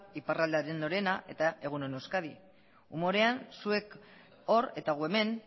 iparraldearen orena eta egun on euskadi humorean zuek hor eta gu hemen